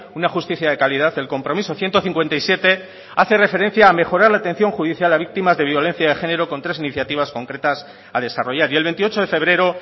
una justicia de calidad el compromiso ciento cincuenta y siete hace referencia a mejorar la atención judicial a víctimas de violencia de género con tres iniciativas concretas a desarrollar y el veintiocho de febrero